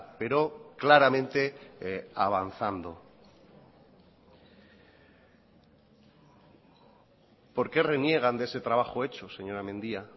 pero claramente avanzando por qué reniegan de ese trabajo hecho señora mendia